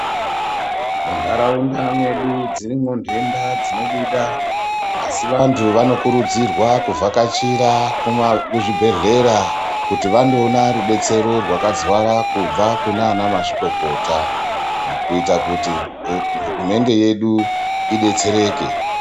Muntaraunda mwedu dzirimwo nedenda dzinobuda asi vantu vanokurudzirwa kuvhakachira kuzvibhedhlera kuti vandoona rubetsero rwakazara kubva kunana mazvikokota mukuita kuti hurumende yedu idetsereke.